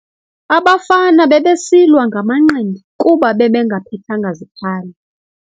Abafana bebesilwa ngamanqindi kuba bebengaphethanga zikhali.